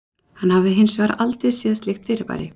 Hann hafði hins vegar aldrei séð slíkt fyrirbæri.